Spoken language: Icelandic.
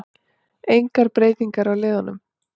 Engar breytingar á liðunum